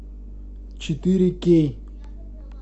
четыре кей